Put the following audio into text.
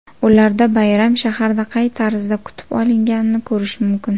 Ularda bayram shaharda qay tarzda kutib olinganini ko‘rish mumkin.